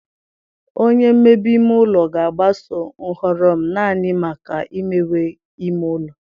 Onye mmebe ime ụlọ ga-agbaso nhọrọ m naanị maka imewe ime ụlọ.